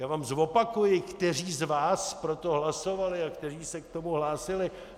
Já vám zopakuji, kteří z vás pro to hlasovali a kteří se k tomu hlásili.